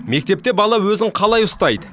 мектепте бала өзін қалай ұстайды